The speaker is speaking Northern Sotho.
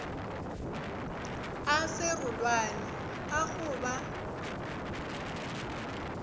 a serolwane a go ba